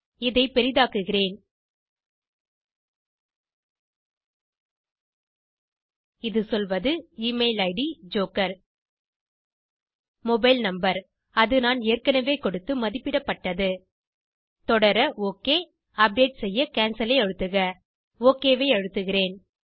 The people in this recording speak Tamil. இதை பெரிதாக்குகிறேன் இது சொல்வது எமெயில் id ஜோக்கர் மொபைல் நம்பர் அது நான் ஏற்கனவே கொடுத்து மதிப்பிடப்பட்டது தொடர ஒக் அல்லது அப்டேட் செய்ய கேன்சல் ஐ அழுத்துக ஒக் ஐ அழுத்துகிறேன்